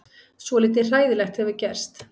Svolítið hræðilegt hefur gerst.